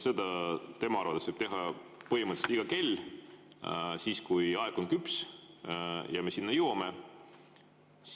Seda tema arvates võib kinnitada põhimõtteliselt iga kell, siis kui aeg on küps ja me sinna jõuame.